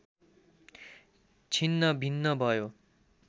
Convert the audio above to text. छिन्न भिन्न भयो